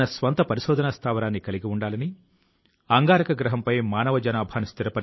ఆయన తన లేఖ ద్వారా విద్యార్థులతో మాత్రమే మాట్లాడినప్పటికీ ఆయన మన మొత్తం సమాజానికి సందేశాన్ని ఇచ్చారు అని